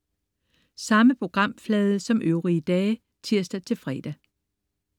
Samme programflade som øvrige dage (tirs-fre)